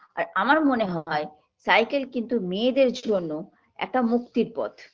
আর আমার মনে হয় cycle কিন্তু মেয়েদের জন্য একটা মুক্তির পথ